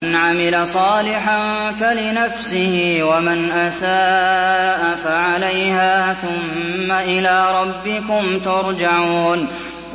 مَنْ عَمِلَ صَالِحًا فَلِنَفْسِهِ ۖ وَمَنْ أَسَاءَ فَعَلَيْهَا ۖ ثُمَّ إِلَىٰ رَبِّكُمْ تُرْجَعُونَ